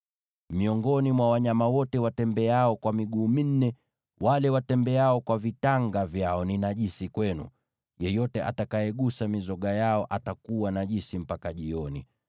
Miongoni mwa wanyama wote watembeao kwa miguu minne, wale watembeao kwa vitanga vyao ni najisi kwenu; yeyote agusaye mizoga yao atakuwa najisi mpaka jioni.